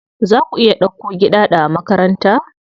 Za ku iya dauko Giɗaɗo a makaranta?